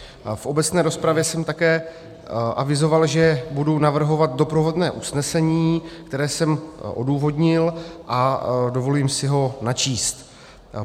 V obecné rozpravě jsem také avizoval, že budu navrhovat doprovodné usnesení, které jsem odůvodnil, a dovolím si ho načíst.